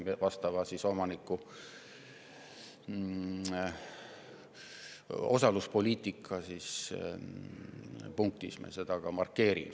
Vastavas osaluspoliitika punktis sai see ka ära markeeritud.